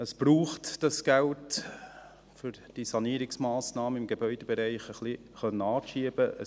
Es braucht dieses Geld, um die Sanierungsmassnahmen im Gebäudebereich etwas anschieben zu können.